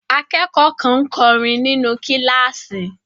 Akẹ́kọ̀ọ́ kan ń kọrin nínú kíláàsì.